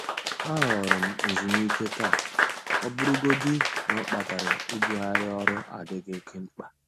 A họọrọ m nzumike taa, ọbụrụgodị na ọ kpatara ibugharị orụ adịghị oke mkpa.